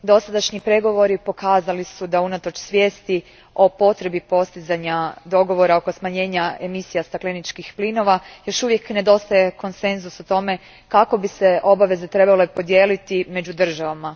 Dosadašnji pregovori pokazali su da unatoč svjesti o potrebi postizanja dogovora oko smanjenja emisija stakleničkih plinova još uvijek nedostaje konsenzus o tome kako bi se obaveze trebale podijeliti među državama.